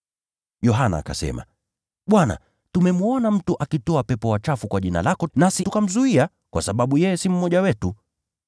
Yohana akasema, “Bwana, tumemwona mtu akitoa pepo wachafu kwa jina lako, nasi tukamzuia, kwa sababu yeye si mmoja wetu.”